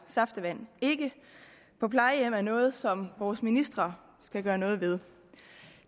saftevand på plejehjem er noget som vores ministre skal gøre noget ved